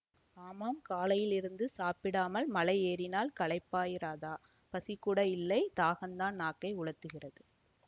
ஆமாம் காலையிலிருந்து சாப்பிடாமல் மலை ஏறினால் களைப்பாயிராதா பசிகூட இல்லை தாகந்தான் நாக்கை உலர்த்துகிறது